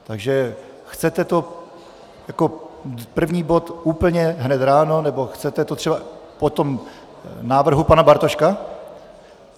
Takže chcete to jako první bod úplně hned ráno, nebo chcete to třeba po tom návrhu pana Bartoška?